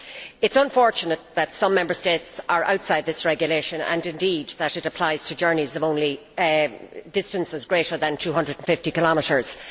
It is unfortunate that some Member States are outside this regulation and, indeed, that it applies only to journeys of distances greater than 250 kilometres.